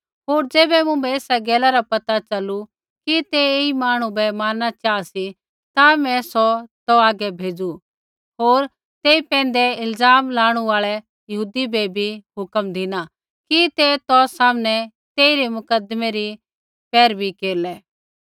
होर ज़ैबै मुँभै एसा गैला रा पैता च़लू कि ते ऐई मांहणु बै मारना चाहा सी ता मैं सौ तौ हागै भेज़ू होर तेई पैंधै इल्ज़ाम लाणु आल़ै यहूदी बै बी हुक्म धिना कि ते तौ सामनै तेइरै मुकदमै री पैरवी केरलै